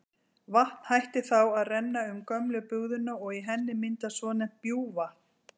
Vatn hættir þá að renna um gömlu bugðuna og í henni myndast svonefnt bjúgvatn.